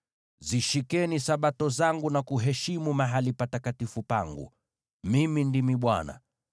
“ ‘Zishikeni Sabato zangu na kuheshimu mahali patakatifu pangu. Mimi ndimi Bwana .